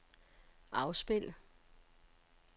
afspil